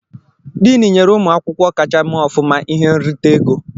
Diin nyere ụmụ akwụkwọ kacha mee ọfụma ihe nrita ego.